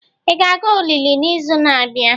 Ị ga-aga olili n'izu na-abịa?